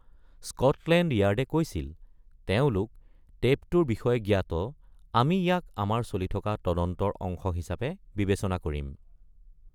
Scotland য়াৰ্ডে কৈছিল, তেওঁলোক “টেপটোৰ বিষয়ে জ্ঞাত; আমি ইয়াক আমাৰ চলি থকা তদন্তৰ অংশ হিচাপে বিবেচনা কৰিম”।